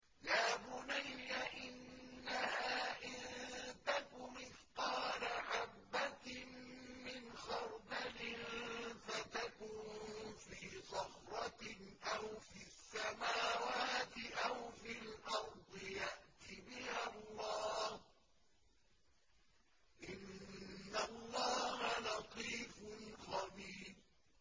يَا بُنَيَّ إِنَّهَا إِن تَكُ مِثْقَالَ حَبَّةٍ مِّنْ خَرْدَلٍ فَتَكُن فِي صَخْرَةٍ أَوْ فِي السَّمَاوَاتِ أَوْ فِي الْأَرْضِ يَأْتِ بِهَا اللَّهُ ۚ إِنَّ اللَّهَ لَطِيفٌ خَبِيرٌ